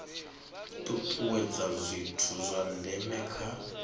tutuwedza zwithu zwa ndeme kha